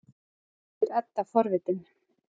spyr Edda forvitin.